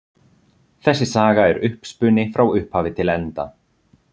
Þessi saga er uppspuni frá upphafi til enda.